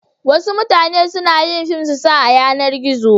wasu na yin fim su sa a yanar gizo